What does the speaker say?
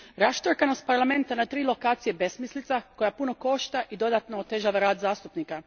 Raštrkanost Parlamenta na tri lokacije besmislica je koja puno košta i dodatno otežava rad zastupnika.